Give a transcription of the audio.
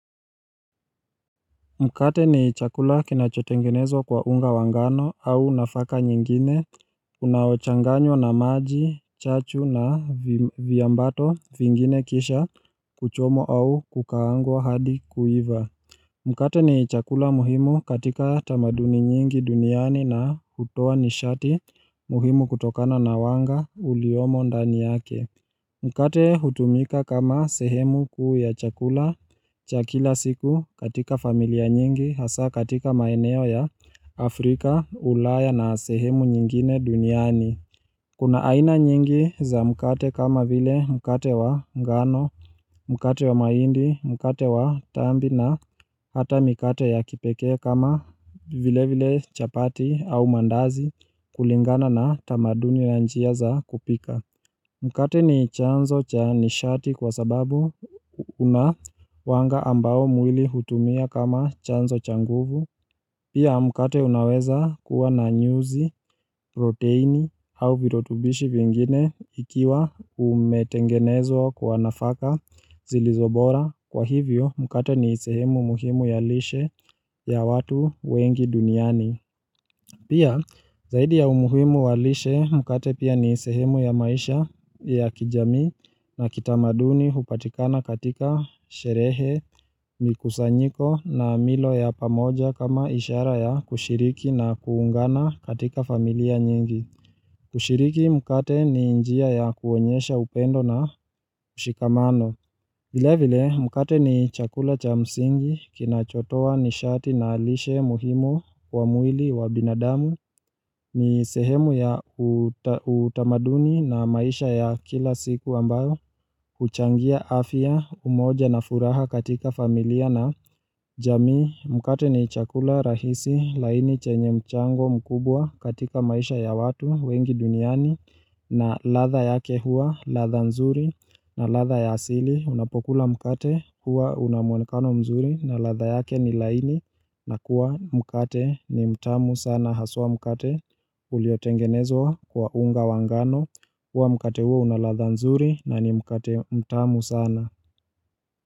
Mkate ni chakula kinachotengenezwa kwa unga wa ngano au nafaka nyingine Unaochanganywa na maji, chachu na viambato vingine kisha kuchomwa au kukaangwa hadi kuiva Mkate ni chakula muhimu katika tamaduni nyingi duniani na hutoa nisharti muhimu kutokana na wanga uliyomo ndani yake Mkate hutumika kama sehemu kuu ya chakula cha kila siku katika familia nyingi, hasaa katika maeneo ya Afrika, ulaya na sehemu nyingine duniani. Kuna aina nyingi za mkate kama vile mkate wa ngano, mkate wa mahindi, mkate wa tambi na hata mikate ya kipekee kama vilevile chapati au mandazi kulingana na tamaduni na njia za kupika. Mkate ni chanzo cha nisharti kwa sababu kuna wanga ambao mwili hutumia kama chanzo cha nguvu. Pia mkate unaweza kuwa na nyuzi, proteini au virutubishi vingine ikiiwa umetengenezwa kwa nafaka zilizo bora. Kwa hivyo mkate ni sehemu muhimu ya lishe ya watu wengi duniani. Pia, zaidi ya umuhimu wa lishe, mkate pia ni sehemu ya maisha ya kijamii na kitamaduni hupatikana katika sherehe, mikusanyiko na milo ya pamoja kama ishara ya kushiriki na kuungana katika familia nyingi. Kushiriki mkate ni njia ya kuonyesha upendo na ushikamano. Vilevile mkate ni chakula cha msingi kinachotoa nisharti na lishe muhimu wa mwili wa binadamu ni sehemu ya utamaduni na maisha ya kila siku ambayo huchangia afya umoja na furaha katika familia na jamii. Mkate ni chakula rahisi laini chenye mchango mkubwa katika maisha ya watu wengi duniani na ladha yake huwa ladha nzuri na ladha ya asili. Unapokula mkate huwa unamuonekano mzuri na ladha yake ni laini na kuwa mkate ni mtamu sana. Haswa mkate uliotengenezwa kwa unga wa ngano huwa mkate huo una ladha nzuri na ni mkate mtamu sana.